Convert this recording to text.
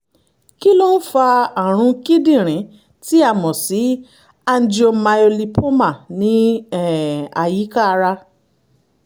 kí ló ń fa àrùn kíndìnrín tí a mọ̀ sí angiomyolipoma ní um àyíká ara?